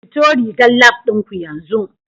Fito rigar Lab ɗin ku yanzu